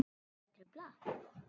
Er ég að trufla?